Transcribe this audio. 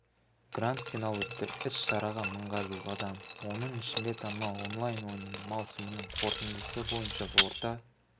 гранд-финал өтті іс-шараға мыңға жуық адам оның ішінде танымал онлайн ойынның маусымының қорытындысы бойынша орта